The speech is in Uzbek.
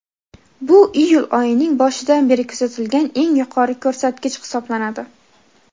Bu iyul oyining boshidan beri kuzatilgan eng yuqori ko‘rsatkich hisoblanadi.